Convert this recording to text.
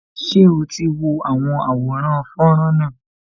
Ṣé o ti wo àwọn àwòrán fọ́nrán náà